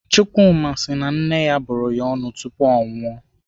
Chukwuma si na nne ya bụrụ ya ọnụ tupu o nwụọ.